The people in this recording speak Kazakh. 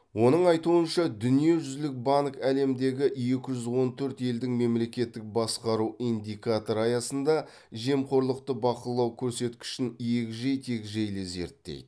оның айтуынша дүниежүзілік банк әлемдегі екі жүз он төрт елдің мемлекеттік басқару индикаторы аясында жемқорлықты бақылау көрсеткішін егжей тегжейлі зерттейді